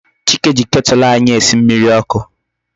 Chike ji Ketulu anyi esi mmiri oku